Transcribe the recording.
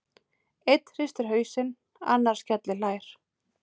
Einn hristir hausinn, annar skellihlær.